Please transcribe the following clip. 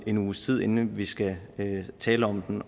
en uges tid inden vi skal tale om